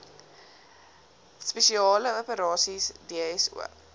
spesiale operasies dso